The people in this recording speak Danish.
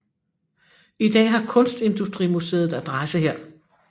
I dag har Kunstindustrimuseet adresse her